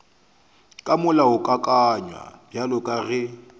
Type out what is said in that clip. ka molaokakanywa bjalo ka ge